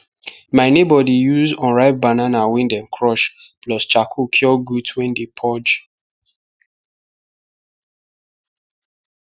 my neighbour dey use unripe banana wey dem crush plus charcoal cure goat wey dey purge